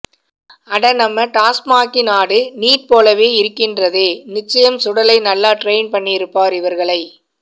அட நம்ம டாஸ்மாக்கினாடு நீட் போலவே இருக்கின்றதே நிச்சயம் சுடலை நல்லா ட்ரெயின் பண்ணியிருப்பார் இவர்களை